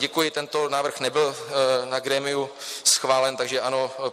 Děkuji, tento návrh nebyl na grémiu schválen, takže ano.